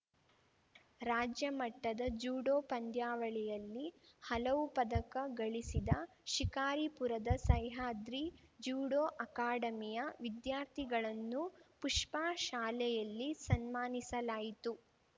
ರಾಜ್ಯ ಮಟ್ಟದ ಜ್ಯೂಡೋ ಪಂದ್ಯಾವಳಿಯಲ್ಲಿ ಹಲವು ಪದಕ ಗಳಿಸಿದ ಶಿಕಾರಿಪುರದ ಸಹ್ಯಾದ್ರಿ ಜ್ಯೂಡೋ ಅಕಾಡೆಮಿಯ ವಿದ್ಯಾರ್ಥಿಗಳನ್ನು ಪುಷ್ಪಾ ಶಾಲೆಯಲ್ಲಿ ಸನ್ಮಾನಿಸಲಾಯಿತು